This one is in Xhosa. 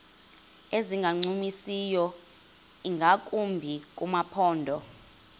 ezingancumisiyo ingakumbi kumaphondo